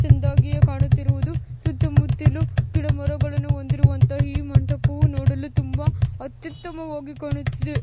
ಚಂದಾಗಿ ಕಾಣುತ್ತಿರುವುದು ಸುತ್ತ ಮುತ್ತಲು ಗಿಡ ಮರಗಳುನ್ನು ಹೊಂದಿರುವಂತ ಈ ಮಂಟಪವು ನೋಡಲು ತುಂಬಾ ಅತ್ಯುತ್ತಮವಾಗಿ ಕಾಣುತ್ತಿದೆ.